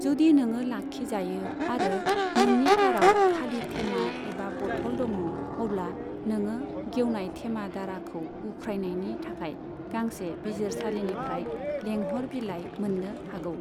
जुदि नोङो लाखिजायो आरो नोंनि काराव खालि थेमा एबा बथल दङ, अब्ला नोङो गेवनाय थेमा दाराखौ उख्रायनायनि थाखाय गांसे बिजिरसालिनिफ्राय लेंहर बिलाइ मोननो हागौ।